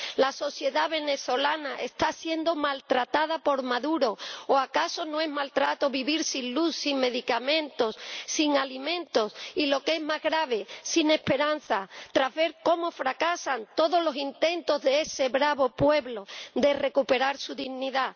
La sociedad venezolana está siendo maltratada por Maduro, o ¿acaso no es maltrato vivir sin luz, sin medicamentos, sin alimentos y, lo que es más grave, sin esperanza, tras ver cómo fracasan todos los intentos de ese bravo pueblo de recuperar su dignidad?